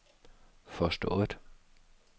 forstået